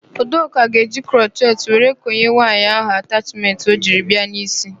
Udoka ga-eji krochet were konye nwaanyị ahụ atachmentị o jiri bịa n'ísí.